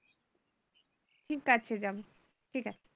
কি টাইসের দাম ঠিক আছে